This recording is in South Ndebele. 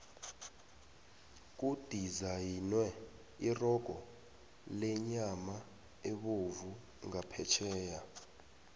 kudizayinwe irogo lenyama ebovu ngaphetheya